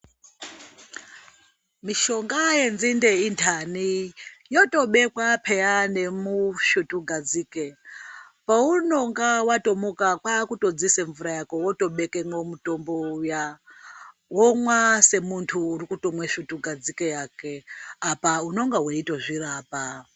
Mishonga. yenzinde intani, yotobekwa peyani musvutu gadzike. Paunege watomuka kwakutodziise mvura yako wotobekemwo mutombo uya womwa semuntu urikutomwa svutu gadzike yakwe apa unonga weitozvirapa.